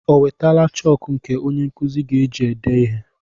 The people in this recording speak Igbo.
O wetala chọọkụ nke onye nkụzi ga-eji ede ihe?